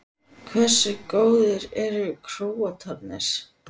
Hversu góðir eru Króatarnir?